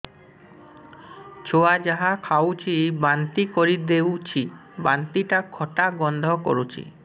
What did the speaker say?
ଛୁଆ ଯାହା ଖାଉଛି ବାନ୍ତି କରିଦଉଛି ବାନ୍ତି ଟା ଖଟା ଗନ୍ଧ କରୁଛି